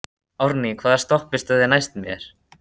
Árný, hvaða stoppistöð er næst mér?